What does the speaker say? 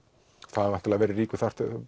það hefur verið ríkur